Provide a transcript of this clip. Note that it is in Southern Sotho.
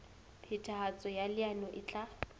phethahatso ya leano e tla